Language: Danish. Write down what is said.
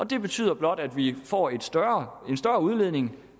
det betyder blot at vi får en større udledning